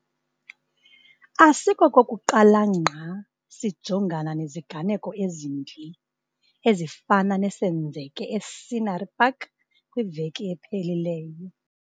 Asikokokuqala ngqa sijongana neziganeko ezimbi ezifana nesenzeke e-Scenery Park kwiveki ephelileyo.